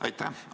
Aitäh!